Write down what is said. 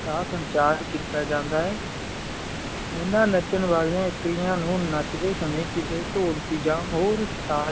ਕਾ ਸੰਚਾਰ ਕੀਤਾ ਜਾਂਦਾ ਆ ਇੰਨਾ ਨਾਚਾਂ ਵਾਲਿਆਂ ਨੂੰ ਨਾਚਡੀ ਸਾਮੀ ਕਿਸੀ ਢੋਲਕੀ ਆ ਹੋਰ ਸਾਜ਼